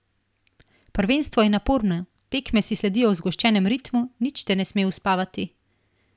Prvenstvo je naporno, tekme si sledijo v zgoščenem ritmu, nič te ne sme uspavati.